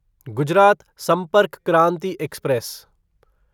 Gujarat Sampark Kranti express